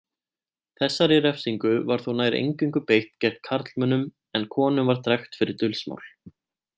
Þessari refsingu var þó nær eingöngu beitt gegn karlmönnum en konum var drekkt fyrir dulsmál.